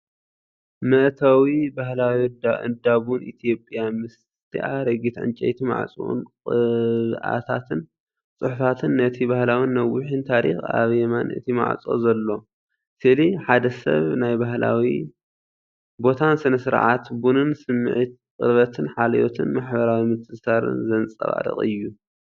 መእተዊ ባህላዊ እንዳ ቡን ኢትዮጵያ፣ ምስቲ ኣረጊት ዕንጨይቲ ማዕጾኡን ቅብኣታትን ጽሑፋትን፣ ነቲ ባህላውን ነዊሕን ታሪኽ ፣ኣብ የማን እቲ ማዕጾ ዘሎ ስእሊ፡ ሓደ ሰብ ናብ ባህላዊ ቦታን ስነ-ስርዓት ቡንን ስምዒት ቅርበትን ሓልዮትን ማሕበራዊ ምትእስሳርን ዘንጸባርቕ እዩ።